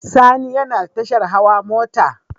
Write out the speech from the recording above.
Sani yana tashar hawa mota